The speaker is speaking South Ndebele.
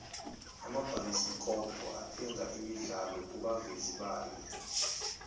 amabhayisikopo athenga imidlalo kubavezi bayo